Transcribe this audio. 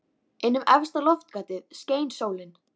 Inn um efsta loftgatið skein sólin.